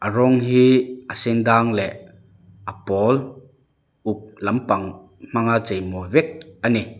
rawng hi a sendâng leh a pawl uk lampang hmang a cheimawi vek a ni.